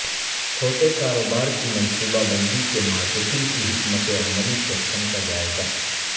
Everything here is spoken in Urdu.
چھوٹے کاروبار کی منصوبہ بندی کے مارکیٹنگ کی حکمت عملی سیکشن کا جائزہ